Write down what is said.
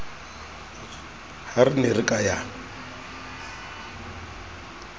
re ne re ka ya